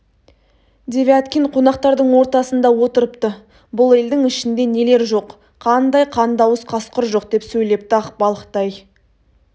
девяткин қонақтардың ортасында отырыпты бұл елдің ішінде нелер жоқ қандай қандыауыз қасқыр жоқ деп сөйлепті ақбалықтай